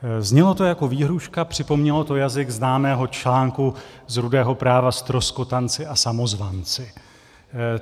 Znělo to jako výhrůžka, připomnělo to jazyk známého článku z Rudého práva Ztroskotanci a samozvanci.